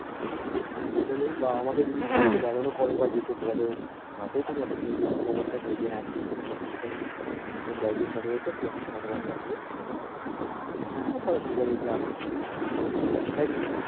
অসুবিধা নেই বা আমাকে যদি বারণ করে বা যেতে বলেও তাতেও কোনো অসুবিধা নেই যদি খবরটা দেয় যে হ্যা ঠিকাছে সব ঠিকাছে তোমরা একদিন তাহলে এস তাহলে সব কথাবার্তা হবে final তাহলে ঠিকাছে যা আছে তাইকিনা